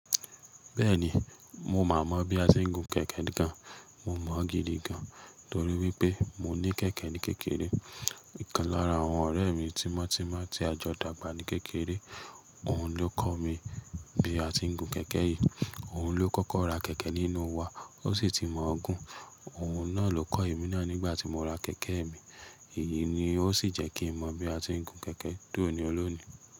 Bẹ́ẹ̀ni, mo mà mọ bí a ti ń gun kẹ̀kẹ́ gan. Mo mọ̀ gidi gan, torí wípé mo ní kẹ̀kẹ́ ní kékeré. Ọ̀kan lára àwọn ọ̀rẹ́ mi tímọ́ tímọ́ tí a jọ dàgbà ní kékeré, òun ló kọ́ mi bí a ti ń gun kẹ̀kẹ́ yìí. Òun ló kọ́kọ́ ra kẹ̀kẹ́ nínú wa, ó sì ti mọ̀ ọ́ gún. Òun náà ló kọ́ èmi náà nígbà tí mo ra kẹ̀kẹ́ mi. Èyí ni ó sì jẹ́ kí n mọ bí a ti ń gun kẹ̀kẹ́ tó ọni olónìí.